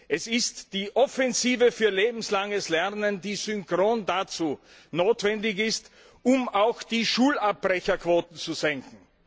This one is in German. Es ist die Offensive für lebenslanges Lernen, die synchron dazu notwendig ist, um auch die Schulabbrecherquoten zu senken.